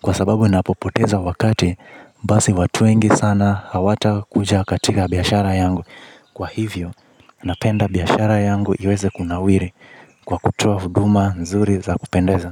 Kwa sababu napopoteza wakati, basi watu wengi sana hawatakuja katika biashara yangu. Kwa hivyo, napenda biashara yangu iweze kunawiri. Kwa kutoa huduma, nzuri za kupendeza.